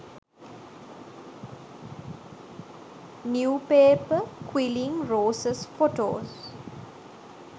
new paper quilling roses photos